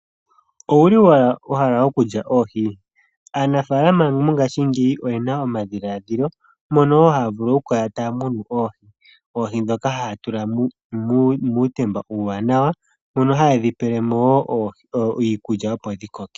Owuli wahala okulya oohi? Aanafalama mongaashingeyi oyena omadhiladhilo mono wo haya vulu okukala taya munu oohi, oohi ndhoka haya tula muutemba uuwanawa mono hayedhi pelemo wo iikulya opo dhi koke.